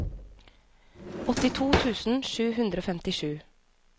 åttito tusen sju hundre og femtisju